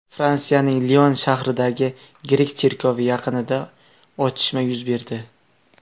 Fransiyaning Lion shahridagi grek cherkovi yaqinida otishma yuz berdi.